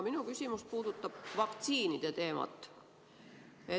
Minu küsimus puudutab vaktsiinide teemat.